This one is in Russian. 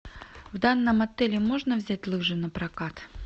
в данном отеле можно взять лыжи на прокат